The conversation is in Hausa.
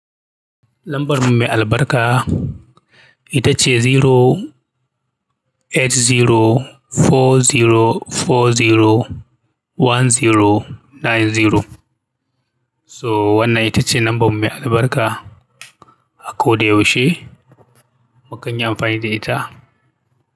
Lambar mu mai albarka ita ce zero eight zero four zero four zero one zero nine zero. So wannan ita ce lamban mai albarka a kobdai yaushe. Mukan yi amfani da ita.